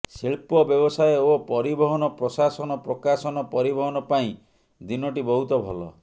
ଶିଳ୍ପ ବ୍ୟବସାୟ ଓ ପରିବହନ ପ୍ରଶାସନ ପ୍ରକାଶନ ପରିବହନ ପାଇଁ ଦିନଟି ବହୁତ ଭଲ